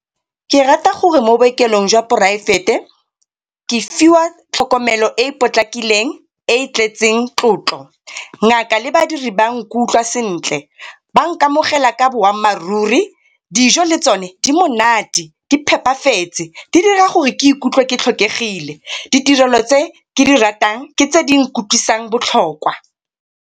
Ke rata gore mo bookelong jwa poraefete ke fiwa tlhokomelo e e potlakileng e e tletseng tlotlo. Ngaka le badiri ba nkutlwa sentle ba nkamogela ka boammaaruri, dijo le tsone di monate di phepafetse di dira gore ke ikutlwe ke tlhokegile. Ditirelo tse ke di ratang ke tse di nkutlwisang botlhokwa.